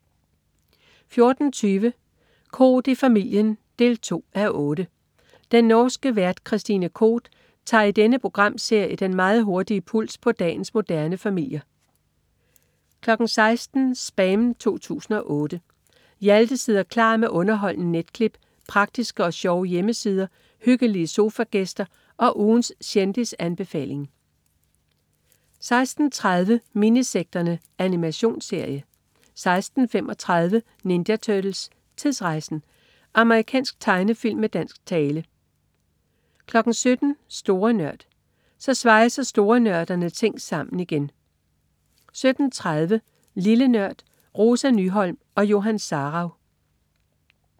14.20 Koht i familien 2:8. Den norske vært Christine Koht tager i denne programserie den meget hurtige puls på dagens moderne familier 16.00 SPAM 2008. Hjalte sidder klar med underholdende netklip, praktiske og sjove hjemmesider, hyggelige sofagæster og ugens kendisanbefaling 16.30 Minisekterne. Animationsserie 16.35 Ninja Turtles: Tidsrejsen! Amerikansk tegnefilm med dansk tale 17.00 Store Nørd. Så svejser storenørderne ting sammen igen! 17.30 Lille Nørd. Rosa Nyholm og Johan Sarauw